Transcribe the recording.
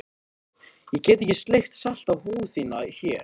Ég get ekki sleikt salta húð þína hér.